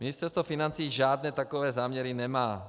Ministerstvo financí žádné takové záměry nemá.